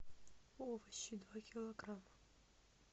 овощи два килограмма